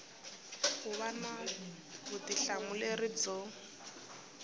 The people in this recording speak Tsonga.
ku va na vutihlamuleri byo